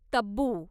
Tabu